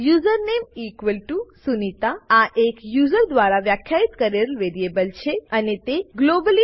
usernamesunita આ એક user દ્વારા વ્યાખ્યિત કરેલ વેરીએબલ છે અને તેને ગ્લોબલી